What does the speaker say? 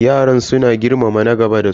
Yaran suna girmama na gaba da su.